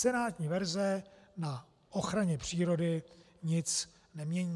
Senátní verze na ochraně přírody nic nemění.